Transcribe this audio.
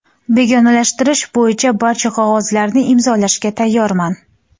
Begonalashtirish bo‘yicha barcha qog‘ozlarni imzolashga tayyorman.